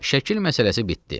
Şəkil məsələsi bitdi.